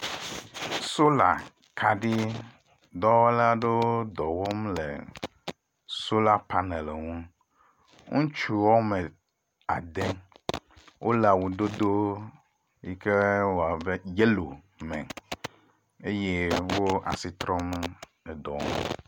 Solar kaɖi dɔwɔla ɖewo le dɔ wɔm le solar panel ŋu. Ŋutsu woame ade wole awudodo yi ke le abe yellow me eye wo asi trɔm edɔ ŋu.